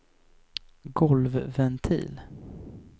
golvventil